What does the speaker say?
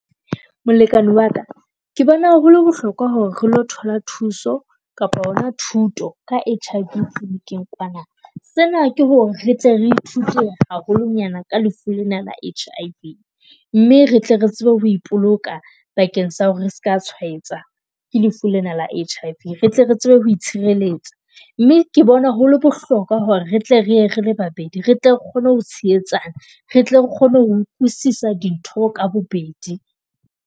Molekane wa ka ke bona hole bohlokwa hore re lo thola thuso kapa hona thuto ka H_I_V kliniking kwana. Sena ke hore re tle re ithute haholonyana ka lefu lena la H_I_V mme re tle re tsebe ho ipoloka bakeng sa hore re ska tshwaetsa ke lefu lena la H_I_V. Re tle re tsebe ho itshireletsa mme ke bona hole bohlokwa hore re tle re ye rele babedi. Re tle re kgone ho tshehetsana, re tle re kgone ho utlwisisa dintho ka bobedi.